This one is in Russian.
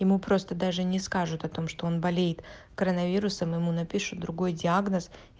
ему просто даже не скажу о том что он болеет коронавирусом ему напишу другой диагноз